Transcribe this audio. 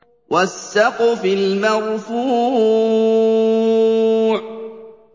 وَالسَّقْفِ الْمَرْفُوعِ